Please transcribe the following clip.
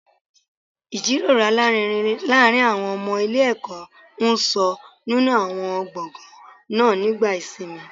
Ìjíròrò alárinrin láàárín àwọn ọmọ ilé ẹ̀kọ́ ń sọ nínú àwọn gbọ̀ngàn náà nígbà ìsinmi